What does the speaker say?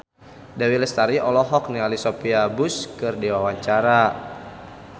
Dewi Lestari olohok ningali Sophia Bush keur diwawancara